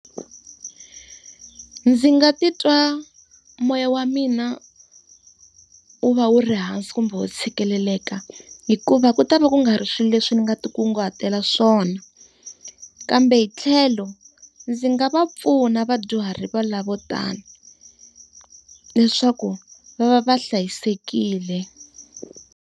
Ndzi nga titwa moya wa mina wu va wu ri hansi kumbe u tshikeleleka hikuva ku ta va ku nga ri swilo leswi ni nga ti nkunguhato wa swona. Kambe hi tlhelo, ndzi nga va pfuna vadyuhari va lavo vo tani, leswaku va va va hlayisekile.